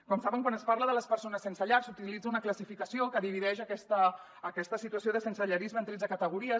com saben quan es parla de les persones sense llar s’utilitza una classificació que divideix aquesta situació de sensellarisme en tretze categories